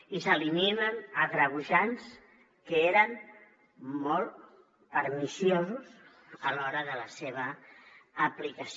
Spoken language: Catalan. i s’eliminen agreujants que eren molt perniciosos a l’hora de la seva aplicació